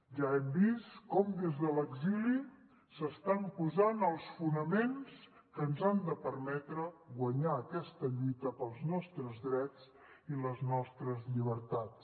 ja hem vist com des de l’exili s’estan posant els fonaments que ens han de permetre guanyar aquesta lluita pels nostres drets i les nostres llibertats